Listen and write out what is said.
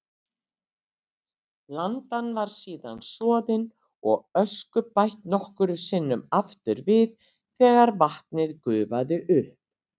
Blandan var síðan soðin og ösku bætt nokkrum sinnum aftur við þegar vatnið gufaði upp.